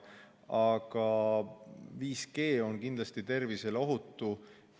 Aga 5G on kindlasti tervisele ohutu.